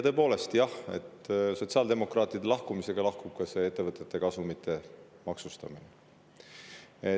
Tõepoolest, jah, sotsiaaldemokraatide lahkumisega lahkub ka ettevõtete kasumi maksustamine.